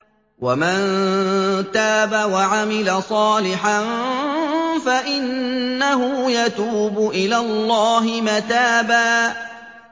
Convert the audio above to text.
وَمَن تَابَ وَعَمِلَ صَالِحًا فَإِنَّهُ يَتُوبُ إِلَى اللَّهِ مَتَابًا